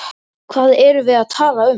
Hvað erum við að tala um?